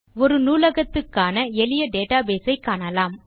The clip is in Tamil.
ஒரு நூலகத்துக்கான எளிய டேட்டாபேஸ் ஐ காணலாம்